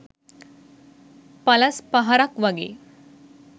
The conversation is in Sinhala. එලස් පහරක් වගෙ